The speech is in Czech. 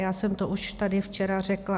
Já jsem to už tady včera řekla.